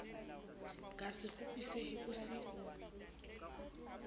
ka a sekgopisehe o se